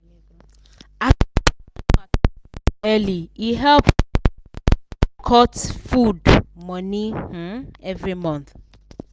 as she plan matter early e help um am cut food money um everymonth.